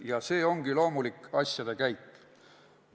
Ja see ongi loomulik asjade käik.